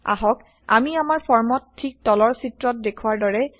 আহক আমি আমাৰ ফৰ্মত ঠিক তলৰ চিত্ৰত দেখুওৱাৰ দৰে